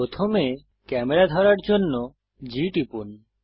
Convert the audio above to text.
প্রথমে ক্যামেরা ধরার জন্য G টিপুন